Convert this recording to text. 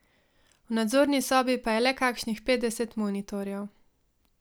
V nadzorni sobi pa je le kakšnih petdeset monitorjev.